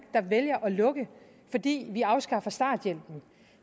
der vælger at lukke fordi vi afskaffer starthjælpen